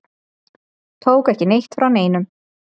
Tóku ekki neitt frá neinum.